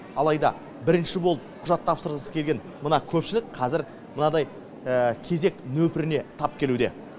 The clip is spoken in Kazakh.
алайда бірінші болып құжат тапсырғысы келген мына көпшілік қазір мынадай кезек нөпіріне тап келуде